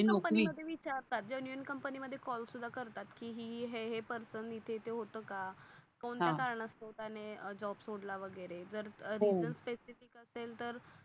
Company मध्ये call पण करतात. कि ही ही हे हे पर्सन इथे इथे होत का? त्याने जॉब सोडला वागिरे जर ते नसेल तर ते